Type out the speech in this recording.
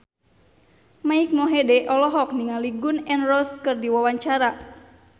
Mike Mohede olohok ningali Gun N Roses keur diwawancara